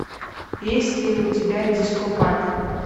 есть ли у тебя дископат